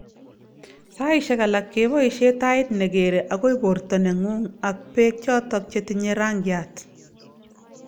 Saishek alak keebaishe tait negeere agoi borto nengung ak beek chotok chetinyee rangiat